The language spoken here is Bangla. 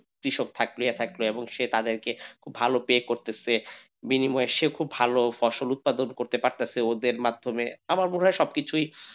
কৃষক থাকলে এসব থাকবে এবং সে তাদের কে ভালো pay করতেছে বিনিময় সে খুব ভালো ফসল উৎপাদন করতে পারতেছে ওদের মাধ্যমে আমার মনে হয় সবকিছুই,